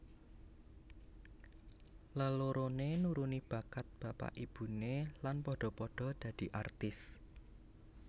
Leloroné nuruni bakat bapak ibuné lan padha padha dadi artis